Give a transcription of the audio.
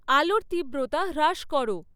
আলোর তীব্রতা হ্রাস করো